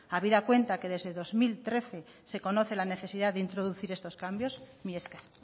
habida cuenta que desde el dos mil trece se conoce la necesidad de introducir estos cambios mila esker